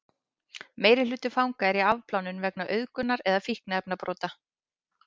meirihluti fanga er í afplánun vegna auðgunar eða fíkniefnabrota